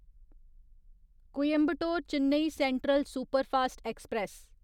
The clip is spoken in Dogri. Coimbatore Chennai Central superfast express